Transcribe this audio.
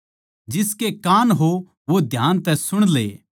जिसके कान हों वो ध्यान तै सुण ले